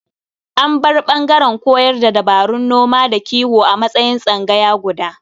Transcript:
An bar ɓangaren koyar da dabarun noma da kiwo a matsayin tsangaya guda.